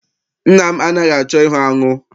Nna m anaghị achọ ịhụ aṅụ.